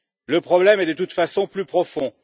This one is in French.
Le problème est de toute façon plus profond.